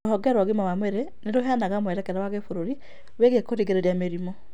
Rũhonge rwa ũgima wa mwĩrĩ nĩrũheanaga mwerekera wa gĩbũrũĩi wĩgiĩ kĩrigĩrĩrĩria kĩa mĩrimũ